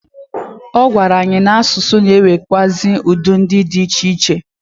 Ọ gwara anyị na asụsụ na enwekwaazi udi di iche iche.